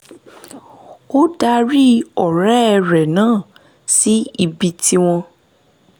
ó darí ọ̀rẹ́ rẹ̀ náà síbi tí wọ́n